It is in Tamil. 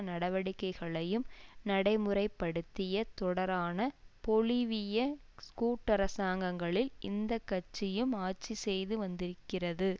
நடவடிக்கைகளையும் நடைமுறைப்படுத்திய தொடரான பொலிவிய கூட்டரசாங்கங்களில் இந்த கட்சியும் ஆட்சி செய்து வந்திருக்கிறது